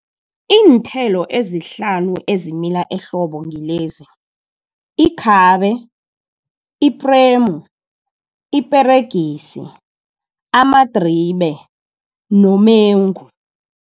Iinthelo ezihlanu ezimila ehlobo ngilezi ikhabe, ipremu, iperegisi, amadribe nomengu.